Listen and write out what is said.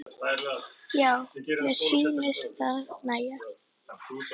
Já, mér sýnist það nægja!